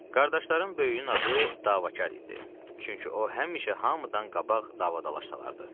Qardaşların böyüyünün adı Davakar idi, çünki o həmişə hamıdan qabaq davadalaş salardı.